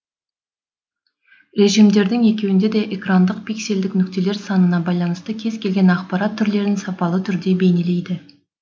режимдердің екеуінде де экрандағы пиксельдік нүктелер санына байланысты кез келген ақпарат түрлерін сапалы түрде бейнелейді